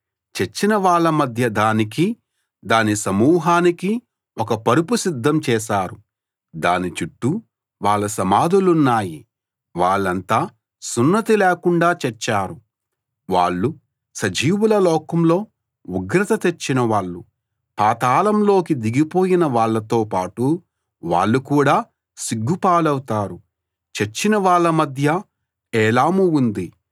చచ్చిన వాళ్ళ మధ్య దానికీ దాని సమూహానికీ ఒక పరుపు సిద్ధం చేశారు దాని చుట్టూ వాళ్ళ సమాధులున్నాయి వాళ్ళంతా సున్నతి లేకుండా చచ్చారు వాళ్ళు సజీవుల లోకంలో ఉగ్రత తెచ్చినవాళ్ళు పాతాళం లోకి దిగిపోయిన వాళ్ళతో పాటు వాళ్ళు కూడా సిగ్గు పాలవుతారు చచ్చిన వాళ్ళ మధ్య ఏలాము ఉంది